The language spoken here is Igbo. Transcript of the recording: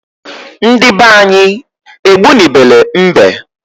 Ndi banyi egbu ni bele mbe